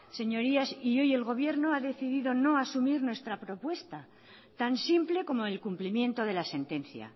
señorías y hoy el gobierno ha decidido no asumir nuestra propuesta tan simple como el cumplimiento de la sentencia